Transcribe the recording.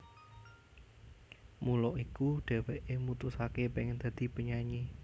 Mula iku dheweke mutusake pengen dadi penyanyi